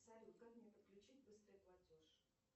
салют как мне подключить быстрый платеж